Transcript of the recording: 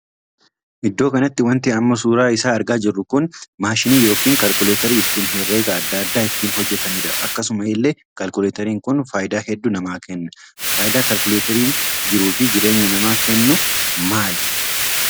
Iddoo kanati wanti amma suuraa isaa argaa jirru kun maashiinii ykn kaalkuleteeri ittin herregaa addaa addaa ittiin hojjetanidha. akkasuma illee kalkuleteerin kun faayidaa hedduu nama kenna. faayidaa kalkuleteerin jiruu fi jireenya namaaf kennu maali?